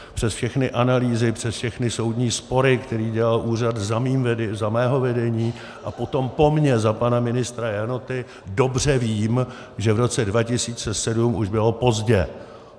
Přes všechny analýzy, přes všechny soudní spory, které dělal úřad za mého vedení, a potom po mně za pana ministra Janoty, dobře vím, že v roce 2007 už bylo pozdě.